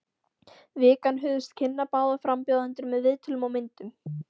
Vikan hugðist kynna báða frambjóðendur með viðtölum og myndum.